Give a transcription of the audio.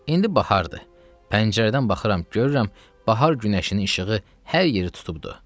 İndi bahardır, pəncərədən baxıram, görürəm bahar günəşinin işığı hər yeri tutubdu.